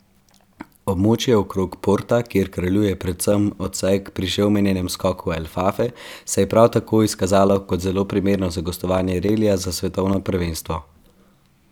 Območje okrog Porta, kjer kraljuje predvsem odsek pri že omenjenem skoku El Fafe, se je prav tako izkazalo kot zelo primerno za gostovanje relija za svetovno prvenstvo.